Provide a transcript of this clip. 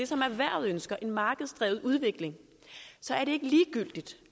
som erhvervet ønsker nemlig en markedsdrevet udvikling så